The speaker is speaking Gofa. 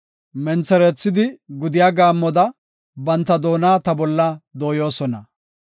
Mentherethidi gudiya gaammoda banta doona ta bolla dooyosona.